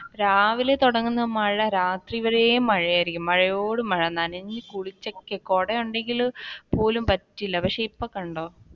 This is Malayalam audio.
രാവിലെ തുടങ്ങുന്ന മഴ രാത്രി വരെയും മഴയായിരിക്കും മഴയോട് മഴ നനഞ്ഞു കുളിച്ചൊക്കെ കുടയുണ്ടെങ്കിൽ പോലും പറ്റില്ല പക്ഷെ ഇപ്പ കണ്ടോ,